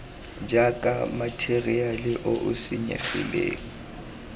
jaaka matheriale o o senyegileng